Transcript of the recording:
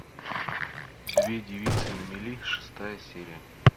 две девицы на мели шестая серия